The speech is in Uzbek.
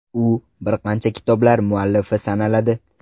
U bir qancha kitoblar muallifi sanaladi.